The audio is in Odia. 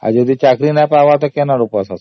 ଆଉ ଯଦି ଚାକିରି ପାଇବନି ତ କେଉଁ ଆଡୁ